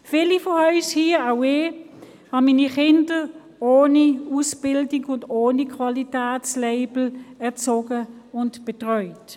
Wie viele von uns, habe auch ich meine Kinder ohne Ausbildung und ohne Qualitätslabel erzogen und betreut.